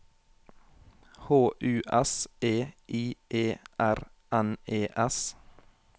H U S E I E R N E S